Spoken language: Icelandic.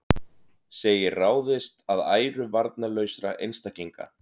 Segir ráðist að æru varnarlausra einstaklinga